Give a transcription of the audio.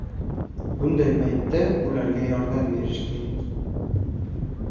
Bunday paytda ularga yordam berish kerak.